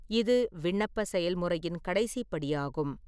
இது விண்ணப்ப செயல்முறையின் கடைசி படியாகும்.